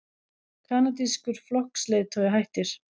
Kanadískur flokksleiðtogi hættir